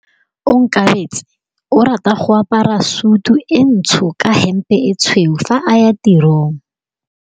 Onkabetse o rata go apara sutu e ntsho ka hempe e tshweu fa a ya tirong.